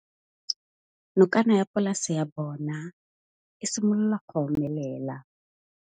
Nokana ya polase ya bona, e simolola go omelela.